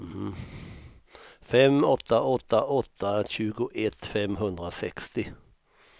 fem åtta åtta åtta tjugoett femhundrasextio